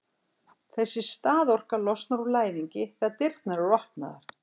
þessi staðorka losnar úr læðingi þegar dyrnar eru opnaðar